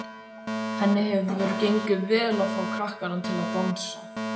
Henni hefur gengið vel að fá krakkana til að dansa.